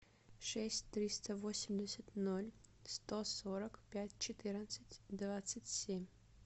шесть триста восемьдесят ноль сто сорок пять четырнадцать двадцать семь